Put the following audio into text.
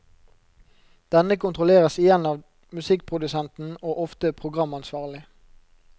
Denne kontrolleres igjen av musikkprodusenten og ofte programansvarlig.